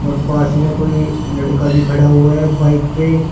पास में कोई लड़का भी खड़ा हुआ है बाइक पे--